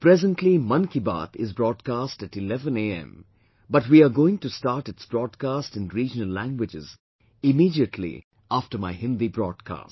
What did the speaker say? Presently Mann Ki Baat is broadcast at 11 AM but we are going to start its broadcast in regional languages immediately after my Hindi broadcast